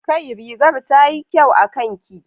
Kai! rigar tayi kyau akanki